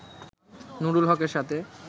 নুরুল হকের সাথে